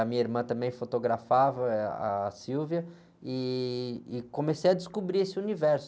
A minha irmã também fotografava, eh, a, e comecei a descobrir esse universo.